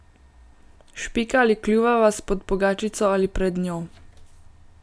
Špika ali kljuva vas pod pogačico ali pred njo.